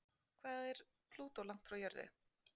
Hvað er Plútó langt frá jörðu?